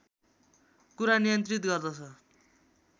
कुरा नियन्त्रित गर्दछ